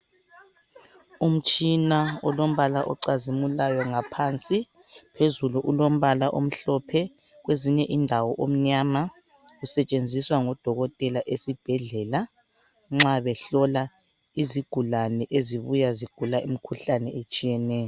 Umtshina olombala ocazimulayo ngaphansi phezulu ulombala omhlophe kwezinye indawo umnyama usetshenziswa ngodokotela esibhedlela nxa behlola izigulane ezibuya zigula imikhuhlane etshiyeneyo.